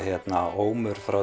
ómur frá